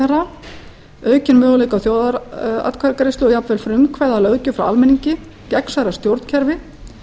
ráðherra aukinn möguleika á þjóðaratkvæðagreiðslu og jafnvel frumkvæði að löggjöf frá almenningi gegnsærra stjórnkerfi